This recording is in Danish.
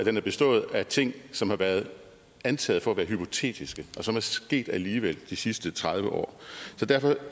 at den har bestået af ting som har været antaget for at være hypotetiske og som er sket alligevel de sidste tredive år så derfor